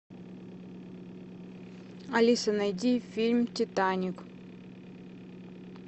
алиса найди фильм титаник